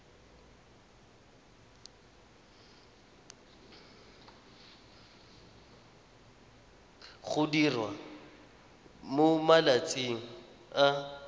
go diriwa mo malatsing a